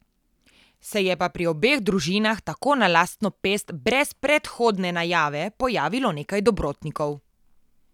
Se je pa pri obeh družinah, tako na lastno pest, brez predhodne najave, pojavilo nekaj dobrotnikov.